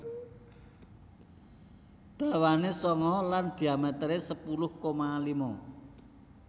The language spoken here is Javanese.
Dawane sanga lan dhiametere sepuluh koma lima